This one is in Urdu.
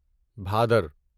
بھادر